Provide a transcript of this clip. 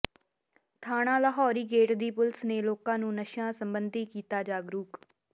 ਥਾਣਾ ਲਾਹੌਰੀ ਗੇਟ ਦੀ ਪੁਲਿਸ ਨੇ ਲੋਕਾਂ ਨੂੰ ਨਸ਼ਿਆਂ ਸਬੰਧੀ ਕੀਤਾ ਜਾਗਰੂਕ